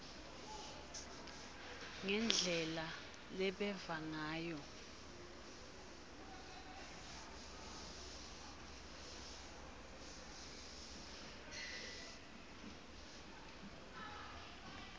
ngendlela lebeva ngayo